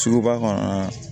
Suguba kɔnɔ